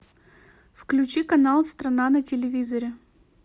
включи канал страна на телевизоре